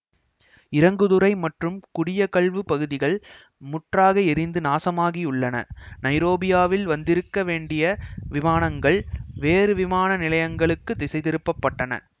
இறங்குதுறை மற்றும் குடியகல்வுப் பகுதிகள் முற்றாக எரிந்து நாசமாகியுள்ளன நைரோபியில் வந்திருக்க வேண்டிய விமானங்கள் வேறு விமான நிலையங்களுக்குத் திசை திருப்பப்பட்டன